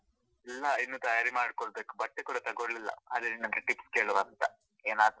ಇಲ್ಲ ಇನ್ನೂ ತಯಾರಿ ಮಾಡ್ಕೊಳ್ಳಬೇಕು, ಬಟ್ಟೆ ಕೂಡ ತಗೋಳಿಲ್ಲ, ಅದೇ ನಿನ್ ಹತ್ರ tips ಕೇಳುವಾ ಅಂತ ಏನಾದ್ರೂ.